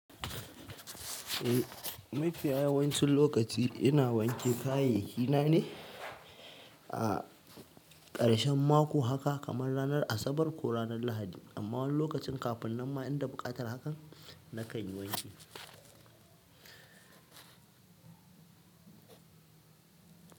Eh mafiya yawancin lokaci ina wanke kayayyaki na ne a ƙarshen mako haka kamar ranar Asabar ko ranar Lahadi amma lokacin kafin nan ma inda baƙatar haka na kan yi wanki.